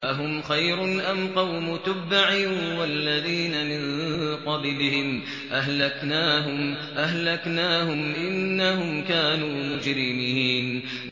أَهُمْ خَيْرٌ أَمْ قَوْمُ تُبَّعٍ وَالَّذِينَ مِن قَبْلِهِمْ ۚ أَهْلَكْنَاهُمْ ۖ إِنَّهُمْ كَانُوا مُجْرِمِينَ